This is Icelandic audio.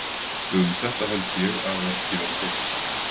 Um þetta held ég að ekki verði deilt.